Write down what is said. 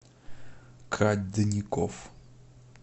кадников